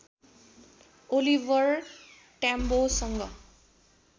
Oliver ट्याम्बोसँग